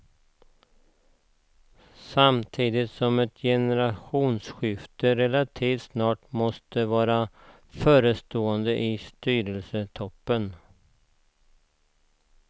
Samtidigt som ett generationsskifte relativt snart måste vara förestående i styrelsetoppen.